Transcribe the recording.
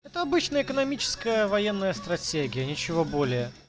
это обычная экономическая военная стратегия ничего более